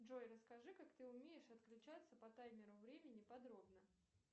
джой расскажи как ты умеешь отключаться по таймеру времени подробно